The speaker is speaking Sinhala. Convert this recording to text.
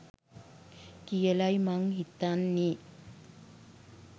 කියලයි මං හිතන්නේ